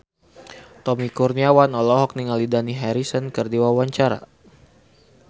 Tommy Kurniawan olohok ningali Dani Harrison keur diwawancara